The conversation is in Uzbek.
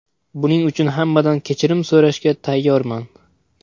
Buning uchun hammadan kechirim so‘rashga tayyorman.